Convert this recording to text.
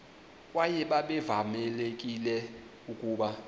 kwaye babevamelekile ukuba